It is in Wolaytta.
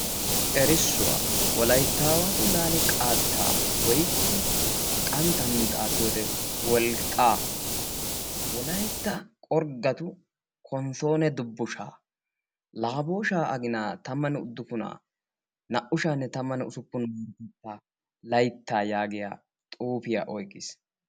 Erissuwa wolayttawattu laale qaatta woykko qanttan xaafiyo wode wolqqa wolaytta qorggatu konssonuuwa dubbushsha laabboshsha agina tammanne uduppuna naa''u sha'anne tamanne ussuppen marotetta laytta yaagiya xuufiya oyqqiis